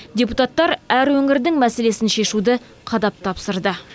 депутаттар әр өңірдің мәселесін шешуді қадап тапсырды